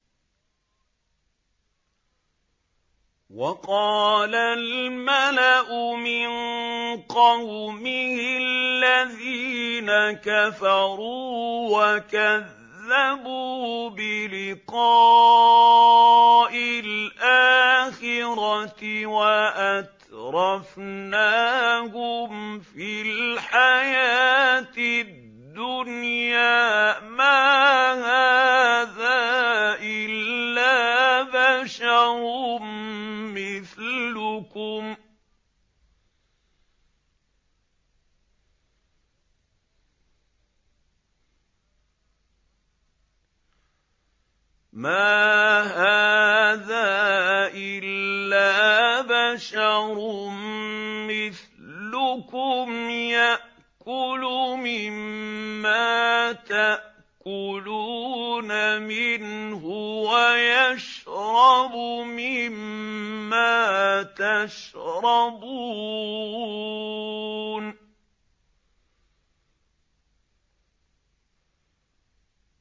وَقَالَ الْمَلَأُ مِن قَوْمِهِ الَّذِينَ كَفَرُوا وَكَذَّبُوا بِلِقَاءِ الْآخِرَةِ وَأَتْرَفْنَاهُمْ فِي الْحَيَاةِ الدُّنْيَا مَا هَٰذَا إِلَّا بَشَرٌ مِّثْلُكُمْ يَأْكُلُ مِمَّا تَأْكُلُونَ مِنْهُ وَيَشْرَبُ مِمَّا تَشْرَبُونَ